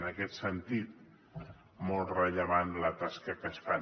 en aquest sentit és molt rellevant la tasca que fan